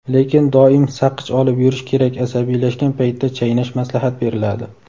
Lekin doim saqich olib yurish kerak asabiylashgan paytda chaynash maslahat beriladi.